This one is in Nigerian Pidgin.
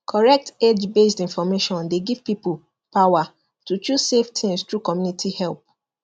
correct agebased information dey give people power to choose safe things through community help